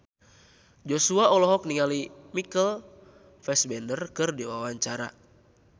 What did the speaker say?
Joshua olohok ningali Michael Fassbender keur diwawancara